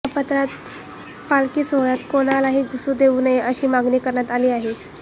या पत्रात पालखी सोहळ्यात कोणालाही घुसू देऊ नये अशी मागणी करण्यात आली आहे